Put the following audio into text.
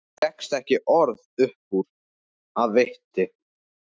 Það fékkst ekki orð upp úr mér af viti.